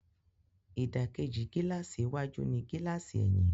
Ìdàkejì gílààsì iwájú ní gílààsì ẹ̀yìn